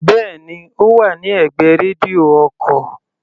Bẹ́ẹ̀ni, Ó wà ní ẹ̀gbẹ́ rédíò ọkò.